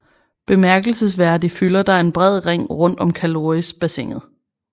Bemærkelsesværdig fylder der en bred ring rundt om Calorisbassinet